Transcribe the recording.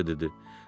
Korte dedi.